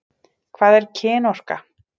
Hvað er kynorka?